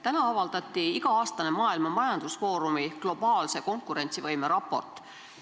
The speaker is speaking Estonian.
Täna avaldati iga-aastane Maailma Majandusfoorumi raport globaalse konkurentsivõime kohta.